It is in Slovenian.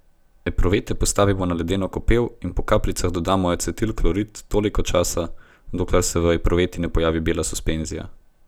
Epruvete postavimo na ledeno kopel in po kapljicah dodajamo acetilklorid toliko časa, dokler se v epruveti ne pojavi bela suspenzija.